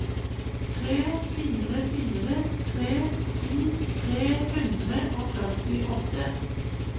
tre fire fire tre ti tre hundre og førtiåtte